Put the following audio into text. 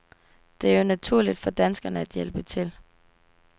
Det er jo naturligt for danskere at hjælpe til.